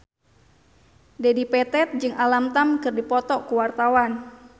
Dedi Petet jeung Alam Tam keur dipoto ku wartawan